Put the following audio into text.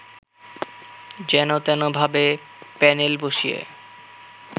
যেনতেনভাবে panel বসিয়ে